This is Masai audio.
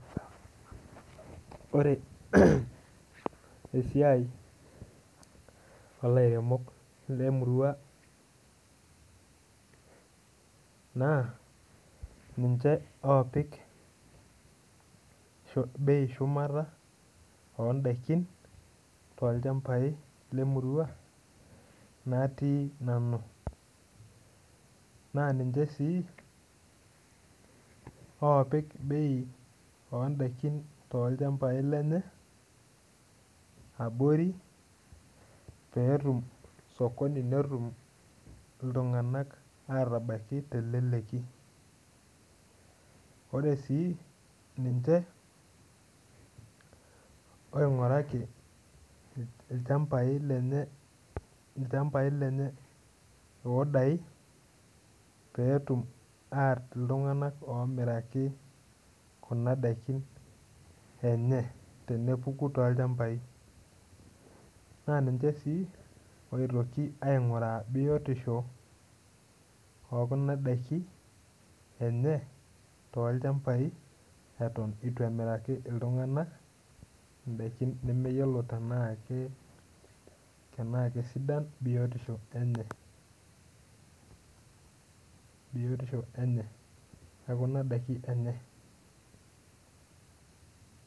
Ore esiai olairemok lemurua na ninche opik bei eshumata tolchambai lemuruanatii nanu na ninche si opik bei ondakini enye abori petum osokoni netum ltunganak wtabaki teleleki ore su ninche oingurwki lchambau lenye odai petum ainoto ltunganak omiraki endaa tenepuku tolchambai na ninche si pitoki ainguraa biotisho ekuna dakini tolchamba lenye atwn itu emiraki ltunganak endaa nemeyiolo tanaa kesudia biotisho enye biotisho enye ekuna dakin enye.